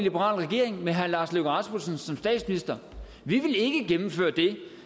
liberal regering med herre lars løkke rasmussen som statsminister vi vil ikke gennemføre det